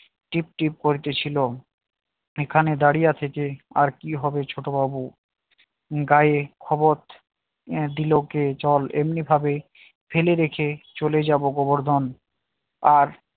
টিপটিপ করিতেছিল এখানে দাঁড়িয়ে থেকে আর কি হবে ছোট বাবু গায়ে খবর দিল কে চল এমনিভাবে ফেলে রেখে চলে যাব গোবর্ধন আর